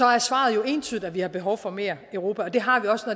er svaret jo entydigt at vi har behov for mere europa og det har vi også